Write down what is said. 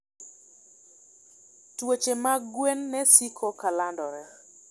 Tuoche mag gwen ne siko ka landore.